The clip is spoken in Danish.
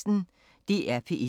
DR P1